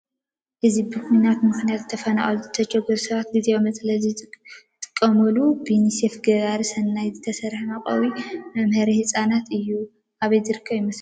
እዚ ብኹናት ምኽንያት ዝተፈናቀሉን ዝተቸገሩን ሰባት ግዝያዊ መፅለሊ ዝጥቀምሉ ብዩኒሴፍ ገባሪ ሰናይ ዝተሰርሐ መዕቆቢን መምሀሪ ህፃናትን እዩ። አበይ ዝርከብ ይመስለኩም?